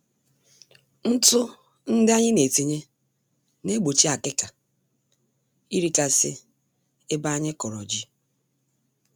Ntụ ndị anyị netinye, naegbochi akịka (termites) irikasị ebe anyị kọrọ ji